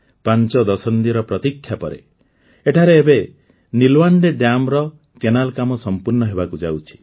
ପାଂଚ ଦଶନ୍ଧିର ପ୍ରତୀକ୍ଷା ପରେ ଏଠାରେ ଏବେ ନୀଲ୍ୱାଣ୍ଡେ ଡ୍ୟାମ୍ର କେନାଲ କାମ ସମ୍ପୂର୍ଣ୍ଣ ହେବାକୁ ଯାଉଛି